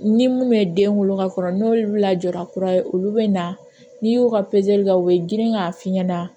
Ni mun bɛ den wolo ka kɔrɔ n'olu lajɔra kura ye olu bɛ na n'i y'u ka kɛ u bɛ girin k'a f'i ɲɛna